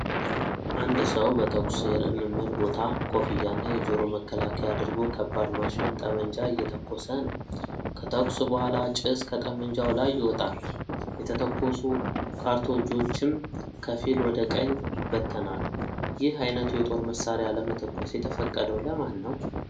አንድ ሰው በተኩስ ልምምድ ቦታ ኮፍያና የጆሮ መከላከያ አድርጎ ከባድ ማሽን ጠመንጃ እየተኮሰ ነው። ከተኩስ በኋላ ጭስ ከጠመንጃው ላይ ይወጣል፣ የተተኮሱ ካርቶጆችም ከፊል ወደ ቀኝ ይበተናሉ። ይህ አይነቱ የጦር መሳሪያ ለመተኮስ የተፈቀደው ለማን ነው?